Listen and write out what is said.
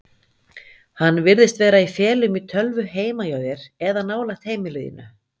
Hann virðist vera í felum í tölvu heima hjá þér eða nálægt heimili þínu.